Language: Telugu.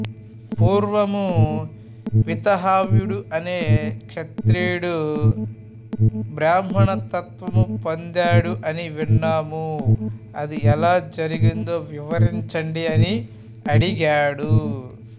పూర్వము వీతహవ్యుడు అనే క్షత్రియుడు బ్రాహ్మణత్వము పొందాడు అని విన్నాము అది ఎలా జరిగిందో వివరించండి అని అడిగాడు